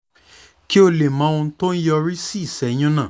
kí o lè mọ ohun tó ń yọrí sí ìṣẹ́yún náà